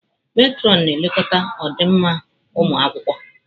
Metrọnụ na-elekọta ọdịmma ụmụ akwụkwọ.